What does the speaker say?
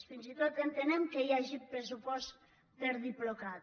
fins i tot entenem que hi hagi pressupost per a diplocat